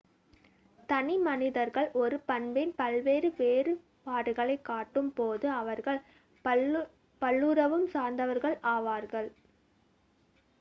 தனி மனிதர்கள் ஒரு பண்பின் பல்வேறு வேறுபாடுகளைக் காட்டும் போது அவர்கள் பல்லுருவம் சார்ந்தவர்கள் ஆவார்கள்